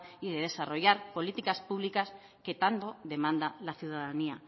y de desarrollar políticas públicas que tanto demanda la ciudadanía